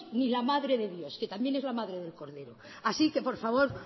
ni la madre de dios que también es la madre del cordero así que por favor